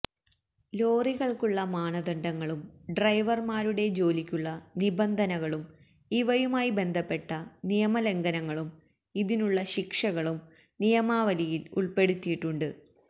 ലോറികൾക്കുള്ള മാനദണ്ഡങ്ങളും ഡ്രൈവർമാരുടെ ജോലിക്കുള്ള നിബന്ധനകളും ഇവയുമായി ബന്ധപ്പെട്ട നിയമ ലംഘനങ്ങളും ഇതിനുള്ള ശിക്ഷകളും നിയമാവലിയിൽ ഉൾപ്പെടുത്തിയിട്ടുണ്ട്